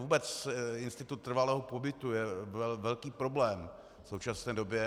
Vůbec institut trvalého pobytu je velký problém v současné době.